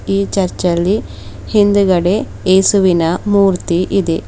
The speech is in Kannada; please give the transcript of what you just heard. ಈ ಚರ್ಚ ಲ್ಲಿ ಹಿಂದಗಡೆ ಯೇಸುವಿನ ಮೂರ್ತಿ ಇದೆ.